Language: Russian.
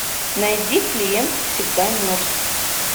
найди клиент всегда мертв